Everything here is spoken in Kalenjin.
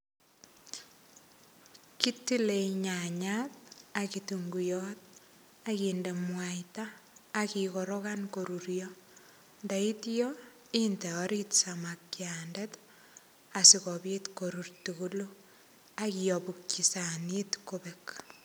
Kitile nyanyat, ak kitunguiyot, akinde mwaita, akikorokan korurio. Ndaityo, inde orit samakiandet, asikobit korur tugulu. Akiabukchi sanit kobek.